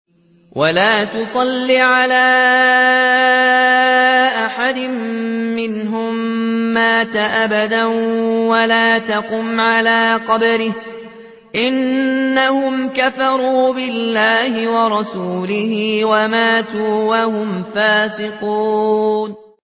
وَلَا تُصَلِّ عَلَىٰ أَحَدٍ مِّنْهُم مَّاتَ أَبَدًا وَلَا تَقُمْ عَلَىٰ قَبْرِهِ ۖ إِنَّهُمْ كَفَرُوا بِاللَّهِ وَرَسُولِهِ وَمَاتُوا وَهُمْ فَاسِقُونَ